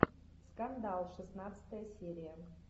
скандал шестнадцатая серия